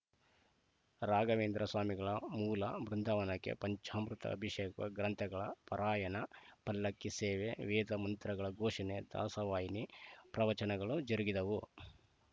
ರಾಘವೇಂದ್ರ ಸ್ವಾಮಿಗಳ ಮೂಲ ಬೃಂದಾವನಕ್ಕೆ ಪಂಚಾಮೃತ ಅಭಿಷೇಕ ಗ್ರಂಥಗಳ ಪಾರಾಯಣ ಪಲ್ಲಕ್ಕಿ ಸೇವೆ ವೇದಮಂತ್ರಗಳ ಘೋಷಣೆ ದಾಸವಾಹಿಣಿ ಪ್ರವಚನಗಳು ಜರುಗಿದವು